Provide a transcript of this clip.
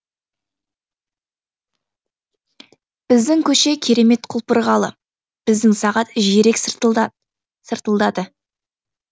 біздің көше керемет құлпырғалы біздің сағат жиірек сыртылдады